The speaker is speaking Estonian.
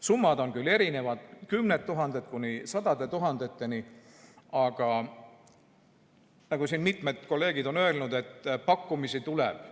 Summad on küll erinevad, kümnetest tuhandetest kuni sadade tuhandeteni, aga nagu siin mitmed kolleegid on öelnud, pakkumisi tuleb.